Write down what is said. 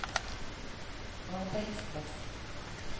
arbeidsplass